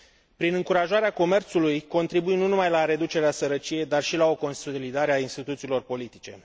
Prin încurajarea comerțului contribuim nu numai la reducerea sărăciei, ci și la o consolidare a instituțiilor politice.